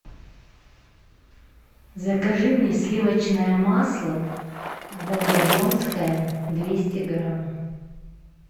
закажи мне сливочное масло волгодонское двести грамм